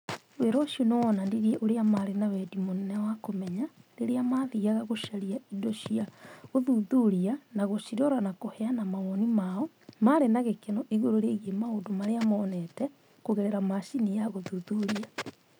Wĩra ũcio nĩ woonanirie ũrĩa maarĩ na wendi mũnene wa kũmenya rĩrĩa maathiaga gũcaria indo cia gũthuthuria na gũcirora na kũheana mawoni mao marĩ na gĩkeno igũrũ rĩgiĩ maũndũ marĩa moonete kũgerera macini ya gũthuthuria